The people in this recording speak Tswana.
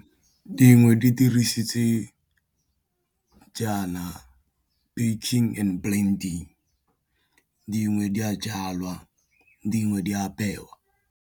Dingwe di dirisitse jaana banking and planting di dingwe di a jalwa dingwe di apewa.